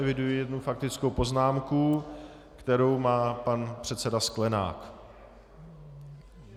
Eviduji jednu faktickou poznámku, kterou má pan předseda Sklenák.